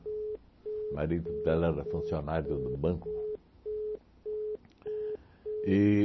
Marido dela era funcionário do banco.